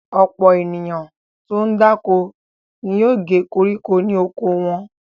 Ọ̀pọ̀ ènìyàn tó ń dáko ni yóò gé koríko ní oko wọn.